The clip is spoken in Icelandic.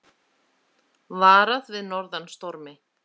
Varað við norðan stormi